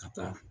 Ka taa